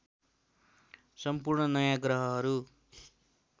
सम्पूर्ण नयाँ ग्रहहरू